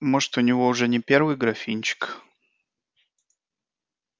может у него уже не первый графинчик